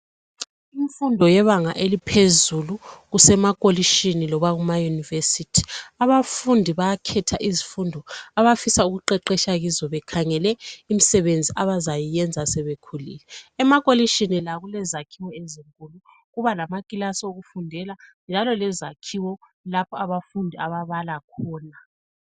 imfundo yebanga eliphezulu kusemakolitshini noma kuma university abafundi bayakhetha izifundo abafuna ukuqheqetsha kizo bekhangele imisebenzi abazayiyenza sebekhulile emakolitshini la kulezakhiwo ezinkulu kuba lama kilasi wokufudeka njalo lezakhiwo lapho abafundi abahlala khona